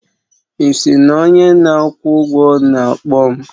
Ị sị na onye na-akwụ ụgwọ na-akpọ m?